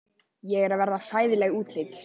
Ég er að verða hræðileg útlits.